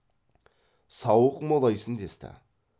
сауық молайсын десті